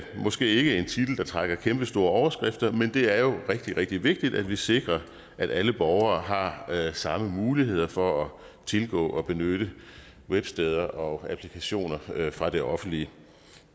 måske ikke en titel der trækker kæmpestore overskrifter men det er jo rigtig rigtig vigtigt at vi sikrer at alle borgere har samme muligheder for at tilgå og benytte websteder og applikationer fra det offentlige